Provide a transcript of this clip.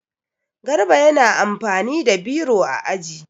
Garba yana amfani da biro a aji.